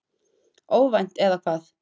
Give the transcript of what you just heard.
Óvænt, eða hvað?